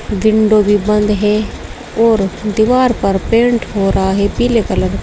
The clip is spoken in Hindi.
विंडो भी बन्द है और दीवार पर पेंट हो रहा है पीले कलर का।